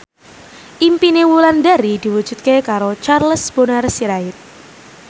impine Wulandari diwujudke karo Charles Bonar Sirait